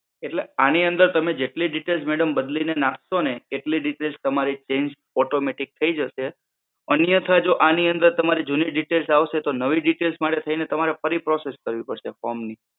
એટલે આની અંદર તમે જેટલી details madam બદલી ને નાખશો ને એટલી details તમારી change automatic થઇ જશે અન્યથા જો આની અંદર તમારી જૂની details આવશે તો નવી details માટે થઈને તમારે ફરી process કરવી પડશે form ની